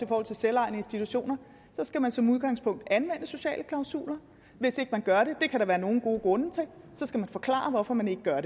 forhold til selvejende institutioner skal man som udgangspunkt anvende sociale klausuler hvis ikke man gør det det kan der være nogle gode grunde til skal man forklare hvorfor man ikke gør